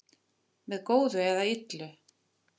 með góðu eða illu